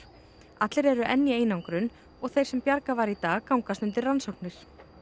allir eru enn í einangrun og þeir sem bjargað var í dag gangast undir rannsóknir